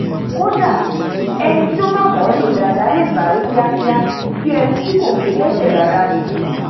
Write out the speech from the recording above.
kódà ení bá mọ ọ lò dáadáa lè sáré kíakía bí eni tí kò gé lẹsẹ rárá ni